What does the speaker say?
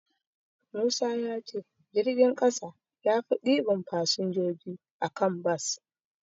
Musa ya ce jirgin ƙasa yafi ɗiban fasinjoji a kan bas.